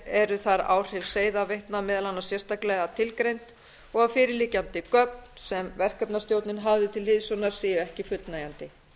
eru þar áhrif seiðaveitna meðal annars sérstaklega tilgreind og fyrirliggjandi gögn sem verkefnastjórnin hafði til hliðsjónar séu ekki fullnægjandi